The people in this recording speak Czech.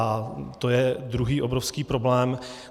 A to je druhý obrovský problém.